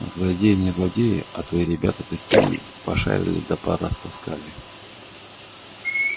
злодеи не злодеи а твои ребята таки пошарили да порастаскали